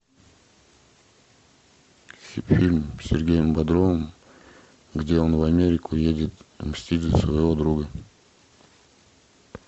фильм с сергеем бодровым где он в америку едет мстить за своего друга